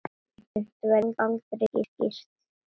Sumt verður aldrei skýrt.